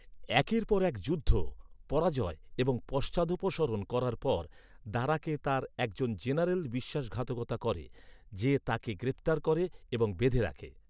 একের পর এক যুদ্ধ, পরাজয় এবং পশ্চাদপসরণ করার পর, দারাকে তার একজন জেনারেল বিশ্বাসঘাতকতা করে, যে তাঁকে গ্রেফতার করে এবং বেঁধে রাখে।